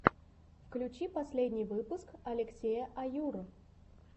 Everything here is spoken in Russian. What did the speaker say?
включи последний выпуск алексея аюр